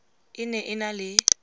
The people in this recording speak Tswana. e ne e na le